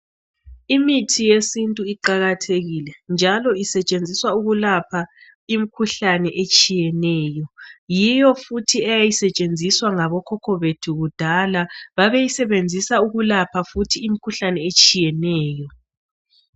Imithi yesintu iqakathekile njalo isetshenziswa ukulapha imkhuhlane etshiyeneyo. Yiyo futhi eyayisetshenziswa ngabokhokho bethu kudala. Babeyisebenzisa futhi ukulapha imkhuhlane etshiyeneyo.